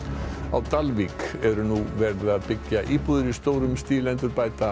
á Dalvík eru nú verið að byggja íbúðir í stórum stíl endurbæta